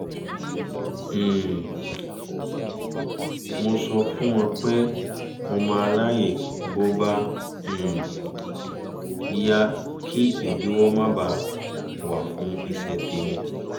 um mo sọ fún wọn pé mo máa ráyè bó bá um yá kí ìdíwọ́ má ba à wà fún iṣẹ́ tèmi